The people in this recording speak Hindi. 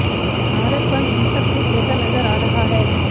भारत बंद हिंसक रूप लेता नजर आ रहा है